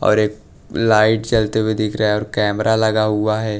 और एक लाइट जलते हुए दिख रहा और कैमरा लगा हुआ है।